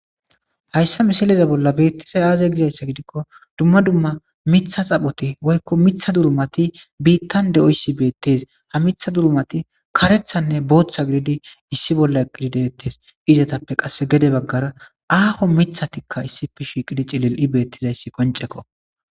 hayssa misileza bolla beettiza aaze gizayssa gidikko dumma dumma mitha xaphoti woykko Mitha durumati biittan de7oyssi beettes ha mitha durumati karethanne booththa gididi issi bolla gididettes izetappe qasse gede baggara aaho mithatikka issife shiiqidi cilil7i beettizayssi qonceko